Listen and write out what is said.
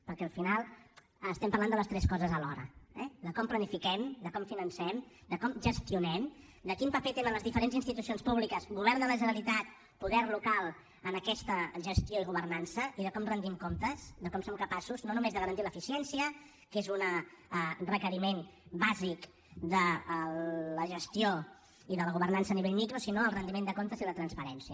perquè al final estem parlant de les tres coses alhora eh de com planifiquem de com financem de com gestionem de quin paper tenen les diferents institucions públiques govern de la generalitat poder local en aquesta gestió i governança i de com retem comptes de com som capaços no només de garantir l’eficiència que és un requeriment bàsic de la gestió i de la governança a nivell micro sinó el retiment de comptes i la transparència